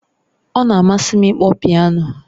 Ọ na-amasị m ịkpọ piano